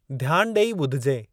ध्यानु डे॒ई ॿुधिजे।